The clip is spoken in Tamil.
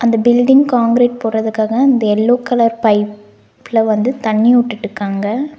இந்த பில்டிங் காங்ரெட் போடறதுக்காக இந்த எல்லோ கலர் பைப்ல வந்து தண்ணி உட்டுட்டுக்காங்க.